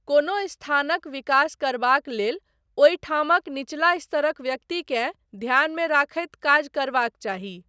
कोनो स्थानक विकास करबाक लेल ओहिठामक निचला स्तरक व्यक्तिकेँ ध्यानमे रखैत काज करबाक चाही।